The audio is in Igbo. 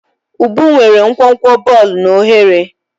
Ubu nwere nkwonkwo bọọlụ na oghere.